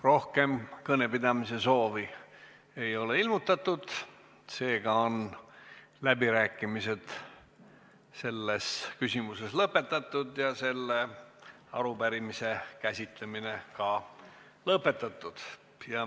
Rohkem kõnepidamise soovi ei ole ilmutatud, seega on läbirääkimised selles küsimuses lõpetatud ja ka arupärimise käsitlemine on lõpetatud.